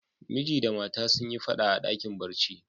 Miji da mata sun yi fada a dakin barci.